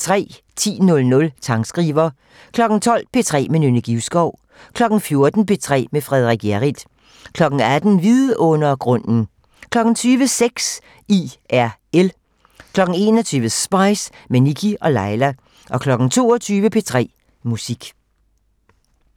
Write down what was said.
10:00: Sangskriver 12:00: P3 med Nynne Givskov 14:00: P3 med Frederik Hjerrild 18:00: Vidundergrunden 20:00: Sex IRL 21:00: Spice - med Nikkie og Laila 22:00: P3 Musik